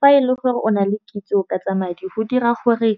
Fa e le gore o na le kitso ka tsa madi go dira gore,